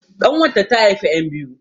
ƙanwata ta haifi 'yan biyu